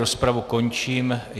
Rozpravu končím.